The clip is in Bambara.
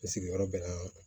I sigiyɔrɔ bɛnna